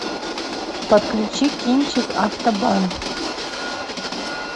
подключи кинчик автобан